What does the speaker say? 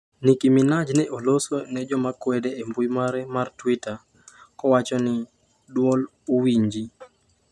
"Nikki Minaj ne oloso ne joma kwede e mbui mare mar Twitter, kowacho ni: ""Duol uwinji"".